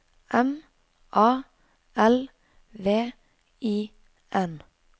M A L V I N